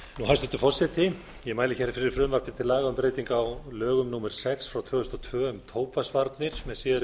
hæstvirtur forseti ég mæli hér fyrir frumvarpi til laga um breytingu á lögum númer sex tvö þúsund og tvö um tóbaksvarnir með síðari breytingum